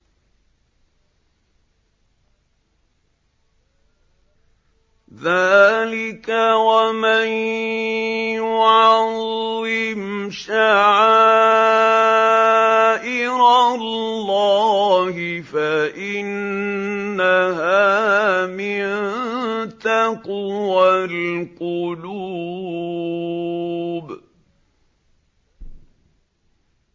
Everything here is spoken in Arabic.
ذَٰلِكَ وَمَن يُعَظِّمْ شَعَائِرَ اللَّهِ فَإِنَّهَا مِن تَقْوَى الْقُلُوبِ